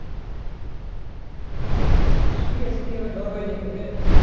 শুয়ে আছিস কি বা জ্বর হয়েছে নাগে?